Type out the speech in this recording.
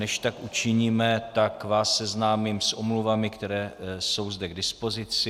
Než tak učiníme, tak vás seznámím s omluvami, které jsou zde k dispozici.